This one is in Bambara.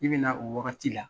I bɛna o waagati la